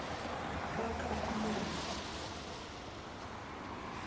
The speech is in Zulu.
bakahamoni